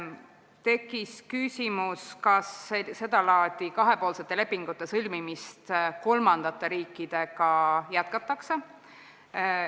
Tekkis küsimus, kas sedalaadi kahepoolsete lepingute sõlmimist kolmandate riikidega jätkatakse.